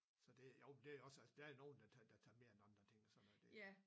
Så det jo det også altså der er nogen der tager der tager mere end andre ting og sådan noget det